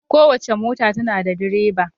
Kowace mota tana da direba.